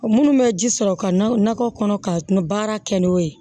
Minnu bɛ ji sɔrɔ ka nakɔ kɔnɔ ka na baara kɛ n'o ye